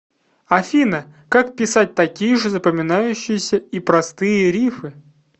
афина как писать такие же запоминающиеся и простые риффы